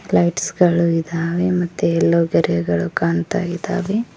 Lights ಗಳು ಇದಾವೆ ಮತ್ತು ಯಲ್ಲೋ ಗೆರೆಗಳು ಕಾಣ್ತಾಯಿದಾವೆ.